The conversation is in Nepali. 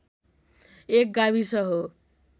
एक गाविस हो।